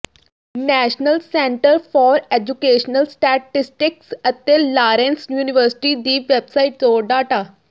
national centre for educational statistics ਅਤੇ Lawrence university ਦੀ website ਤੋਂ ਡਾਟਾ